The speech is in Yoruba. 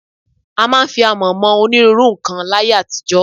A máa ń fi àmọ̀ mọ onírúurú nǹkan láyé àtijọ́